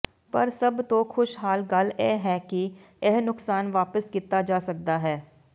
ਪਰ ਸਭ ਤੋਂ ਖੁਸ਼ਹਾਲ ਗੱਲ ਇਹ ਹੈ ਕਿ ਇਹ ਨੁਕਸਾਨ ਵਾਪਸ ਕੀਤਾ ਜਾ ਸਕਦਾ ਹੈ